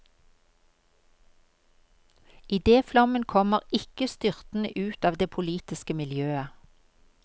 Idéflommen kommer ikke styrtende ut av det politiske miljøet.